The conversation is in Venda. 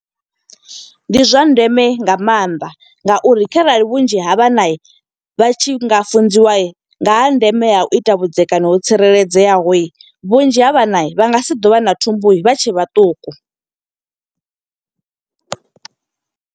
Ndi zwa ndeme nga maanḓa nga uri kharali vhunzhi ha vhana vha tshi nga funziwa, nga ha ndeme ha u ita vhudzekani ho tsireledzeaho. Vhunzhi ha vhana, vha nga si ḓo vha na thumbu vha tshe vhaṱuku.